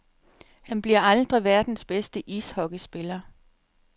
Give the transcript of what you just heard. Han bliver aldrig verdens bedste ishockeyspiller.